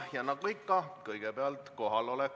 Ja nagu ikka, kõigepealt kohaloleku kontroll.